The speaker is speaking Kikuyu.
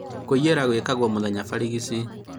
Kũiyĩra gwekagwo mũthenya barigici